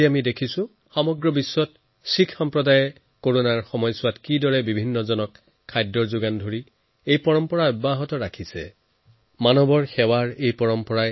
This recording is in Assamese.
মই কৰোনা মহামাৰীৰ এই সময়ছোৱাত দেখিলো কিদৰে শিখ ভাইভনীসকলে তেওঁলোকৰ এই পৰম্পৰাক বজাই ৰাখি মানৱসেৱাৰ এক উজ্জ্বল নিদৰ্শন দাঙি ধৰিলে